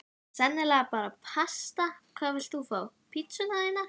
Sennilega bara pasta Hvað vilt þú fá á pizzuna þína?